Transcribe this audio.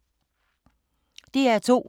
DR2